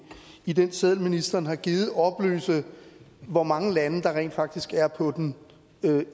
i den seddel ministeren har givet oplyse hvor mange lande der rent faktisk er på den